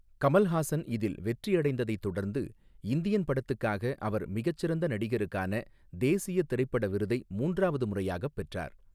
கமல்ஹாசன் இதில் வெற்றி அடைந்ததைத் தொடர்ந்து, 'இந்தியன்' படத்துக்காக அவர் மிகச்சிறந்த நடிகருக்கான தேசிய திரைப்பட விருதை மூன்றாவது முறையாகப் பெற்றார்.